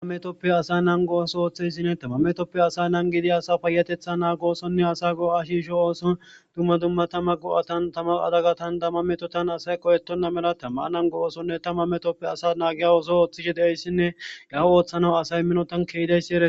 Amametoppe asay nan gooso ooththeyssine tama metoppe asay nan gidi asa payatetha naa goosonne asa go'a shisho ooso dumma dumma tamma go'atan tama adagatan damma metotan asay qoyetonna mela tammaa nango oosonne tama metoppe asa naagiya oso ooththishe deeyssinne gaho ooththanaw asay minotan keedeysi ee.